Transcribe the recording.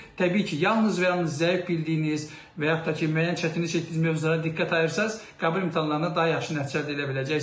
Təbii ki, yalnız və yalnız zəif bildiyiniz və yaxud da ki, müəyyən çətinlik çəkdiyiniz mövzulara diqqət ayırsanız, qəbul imtahanlarında daha yaxşı nəticə əldə edə biləcəksiniz.